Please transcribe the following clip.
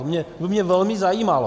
To by mě velmi zajímalo.